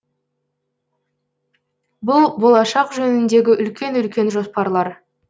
бұл болашақ жөніндегі үлкен үлкен жоспарлар